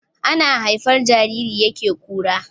Ana haifar jariri yake kura